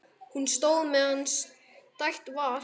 Hún stóð meðan stætt var.